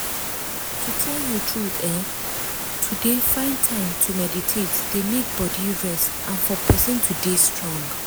to tell you truth eeh! to dey find time to meditate dey make body rest and for person to dey strong.